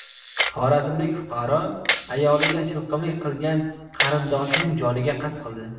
Xorazmlik fuqaro ayoliga shilqimlik qilgan qarindoshining joniga qasd qildi.